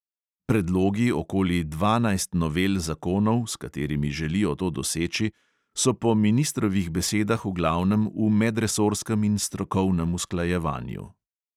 Predlogi okoli dvanajst novel zakonov, s katerimi želijo to doseči, so po ministrovih besedah v glavnem v medresorskem in strokovnem usklajevanju.